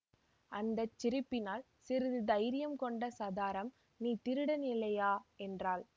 அந்த சிரிப்பினால் சிறிது தைரியம் கொண்ட சதாரம் நீ திருடனில்லையா என்றாள்